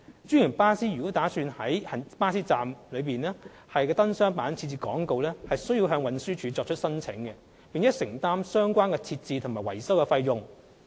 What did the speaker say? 專營巴士公司如擬在巴士站的燈箱板設置廣告，需向運輸署作出申請，並承擔相關設置及維修費用。